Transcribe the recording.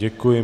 Děkuji.